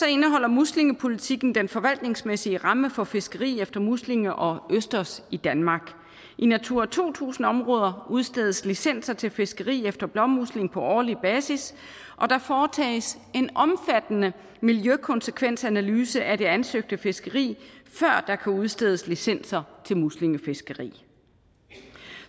indeholder muslingepolitikken den forvaltningsmæssige ramme for fiskeri efter muslinger og østers i danmark i natura to tusind områder udstedes licenser til fiskeri efter blåmusling på årlig basis og der foretages en omfattende miljøkonsekvensanalyse af det ansøgte fiskeri før der kan udstedes licenser til muslingefiskeri